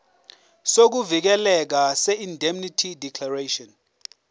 sokuvikeleka seindemnity declaration